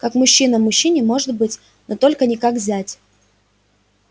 как мужчина мужчине может быть но только не как зять